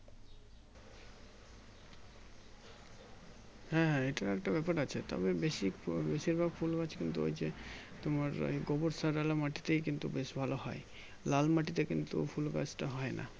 হ্যাঁ হ্যাঁ এটাও একটা ব্যাপার আছে তবে বেশি ফুল বশির ভাগ ফুল গাছে কিন্তু ওই যে তোমার গোবর সারওলা মাটিতেই কিন্তু বেশি ভালো হয় লাল মাটিতে কিন্তু ফুল গাছ তা হয় না